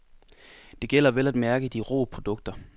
Det gælder vel at mærke de rå produkter.